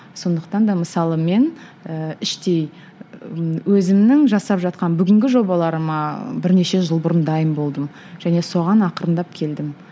сондықтан да мысалы мен ііі іштей і өзімнің жасап жатқан бүгінгі жобаларыма бірнеше жыл бұрын дайын болдым және соған ақырындап келдім